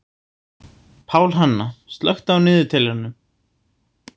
Pálhanna, slökktu á niðurteljaranum.